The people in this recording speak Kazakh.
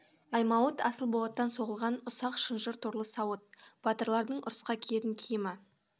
аймауыт асыл болаттан соғылған ұсақ шынжыр торлы сауыт батырлардың ұрысқа киетін киімі